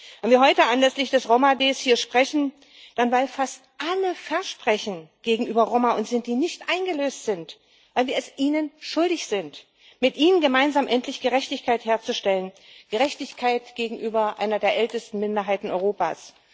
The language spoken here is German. Wenn wir heute hier anlässlich des Roma-Tags sprechen, dann weil fast alle Versprechen gegenüber Roma und Sinti nicht eingelöst sind, weil wir es ihnen schuldig sind, mit ihnen gemeinsam endlich Gerechtigkeit herzustellen Gerechtigkeit gegenüber einer der ältesten Minderheiten Europas.